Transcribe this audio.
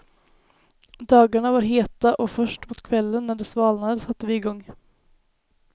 Dagarna var heta och först mot kvällen när det svalnade satte vi igång.